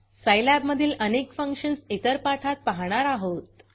सिलाब मधील अनेक फंक्शन्स इतर पाठात पाहणार आहोत